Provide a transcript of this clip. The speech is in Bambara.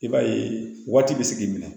I b'a ye waati bɛ se k'i minɛ